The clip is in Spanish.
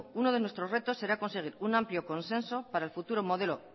uno de nuestros retos será conseguir un amplio consenso para el futuro modelo